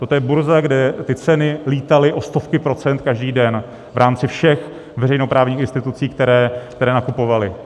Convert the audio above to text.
Toto je burza, kde ty ceny lítaly o stovky procent každý den v rámci všech veřejnoprávních institucí, které nakupovaly.